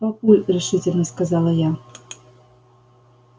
папуль решительно сказала я